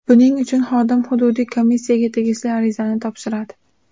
Buning uchun xodim hududiy komissiyaga tegishli arizani topshiradi.